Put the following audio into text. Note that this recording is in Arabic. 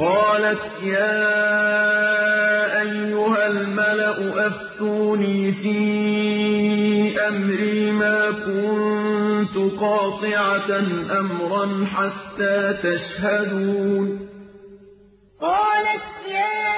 قَالَتْ يَا أَيُّهَا الْمَلَأُ أَفْتُونِي فِي أَمْرِي مَا كُنتُ قَاطِعَةً أَمْرًا حَتَّىٰ تَشْهَدُونِ قَالَتْ يَا